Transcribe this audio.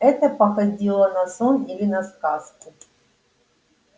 это походило на сон или на сказку